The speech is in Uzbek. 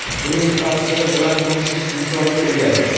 uning tafsiri bilan tanishish imkoniga egasiz.